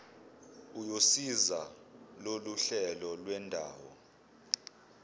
uyosiza loluhlelo lwendawo